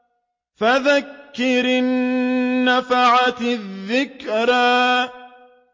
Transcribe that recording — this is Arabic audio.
فَذَكِّرْ إِن نَّفَعَتِ الذِّكْرَىٰ